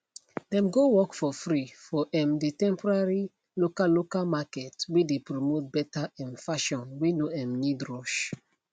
dem go work for free for um the temporary local local market whey dey promote better um fashion whey no um need rush